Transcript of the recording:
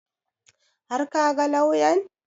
Har ka ga lauyan?